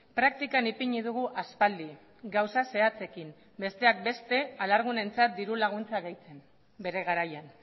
praktikan ipini dugu aspaldi gauza zehatzekin besteak beste alargunentzat dirulaguntza gehitzen bere garaian